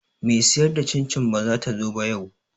Me siyar da cin cin bazata zo ba yau